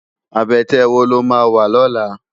Abètè wó ló má wá lòlá?